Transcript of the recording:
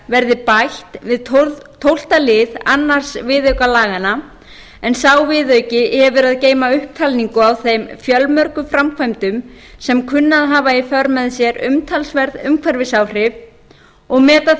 verði bætt við tólfta lið annars viðauka laganna en sá viðauki hefur að geyma upptalningu á þeim fjölmörgu framkvæmdum sem kunna að hafa í för með sér umtalsverð umhverfisáhrif og meta